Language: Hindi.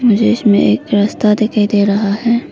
मुझे इसमें एक रास्ता दिखाई दे रहा है।